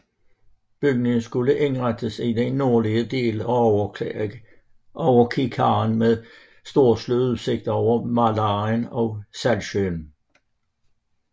Bygningen skulle indrettes i den nordlige del af Överkikaren med storslået udsigt over Mälaren og Saltsjön